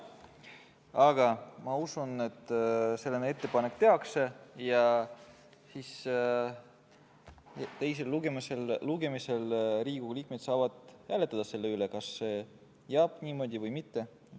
Aga ma usun, et selline ettepanek tehakse ja teisel lugemisel Riigikogu liikmed saavad hääletada selle üle, kas see jääb niimoodi või mitte.